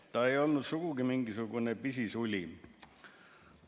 Ta ei olnud sugugi mingisugune pisisuli.